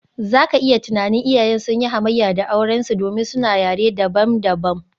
Za ka iya tunanin, iyayen sun yi hamayya da aurensu domin suna yare dabam-dabam.